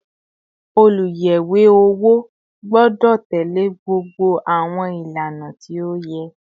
Oluyẹwe owo gbọdọ tẹle gbogbo àwọn ìlànà tí ó yẹ